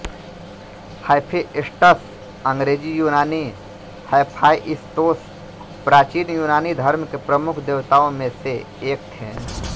Hephaestus अंग्रेज़ी यूनानी Hephaistos प्राचीन यूनानी धर्म के प्रमुख देवताओं में से एक थे